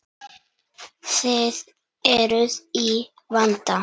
Þið eruð í vanda.